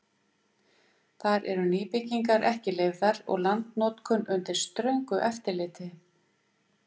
Þar eru nýbyggingar ekki leyfðar og landnotkun undir ströngu eftirliti.